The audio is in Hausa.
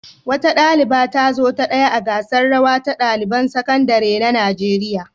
Wata ɗaliba ta zo ta ɗaya a gasar rawa ta ɗaliban sakandare na Najeriya.